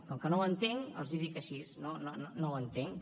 com que no ho entenc els ho dic així no ho entenc